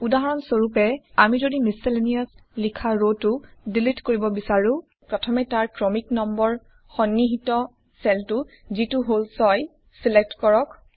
উদাহৰণ স্বৰূপে আমি যদি মিছেলেনিয়াছ লিখা ৰটো ডিলিট কৰিব বিছাৰোঁ প্ৰথমে তাৰ ক্ৰমিক নম্বৰ সন্নিহিত চেলটো যিটো হল 6 ছিলেক্ট কৰক